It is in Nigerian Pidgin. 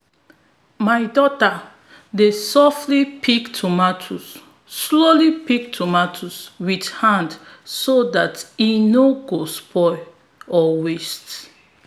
my daughter dey softly pick tomatoes softly pick tomatoes with hand so that e no go spoil or waste